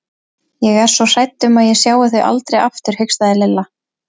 Ég er svo hrædd um að ég sjái þau aldrei aftur hikstaði Lilla.